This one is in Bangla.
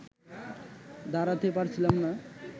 দাঁড়াতে পারছিলাম না